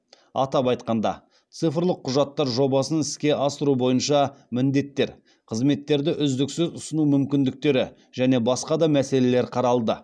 атап айтқанда цифрлық құжаттар жобасын іске асыру бойынша міндеттер қызметтерді үздіксіз ұсыну мүмкіндіктері және басқа да мәселелер қаралды